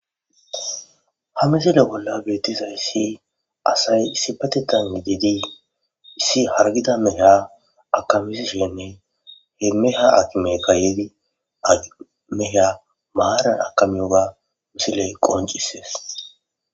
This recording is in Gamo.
Ha misile bolla bettizaysi asay issippetethan gididii issi hargida meeha akamisishenne he meha akimeykka meha maaran akamiyoga misiley qoncisees.